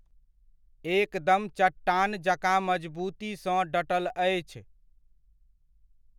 एकदम चट्टान जकाँ मजबूती सँ डटल अछि।